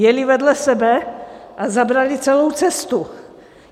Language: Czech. Jeli vedle sebe a zabrali celou cestu.